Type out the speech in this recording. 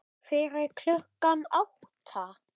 Fyrir klukkan átta?